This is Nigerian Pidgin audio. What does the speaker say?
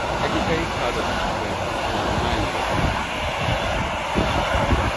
i dey very proud of you my friend na man you be